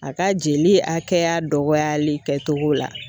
A ka jeli hakɛya dɔgɔyali kɛcogo la.